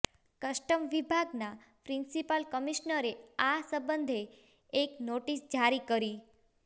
custom વિભાગના principal કમિશ્નરે આ સંબંધે એક નોટિસ જારી કરી